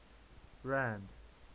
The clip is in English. rand